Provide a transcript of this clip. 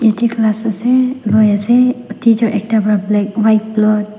yatae class ase loiase teacher ekta pra black white blot.